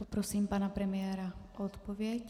Poprosím pana premiéra o odpověď.